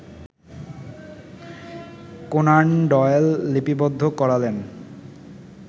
Conan Doyle লিপিবদ্ধ করালেন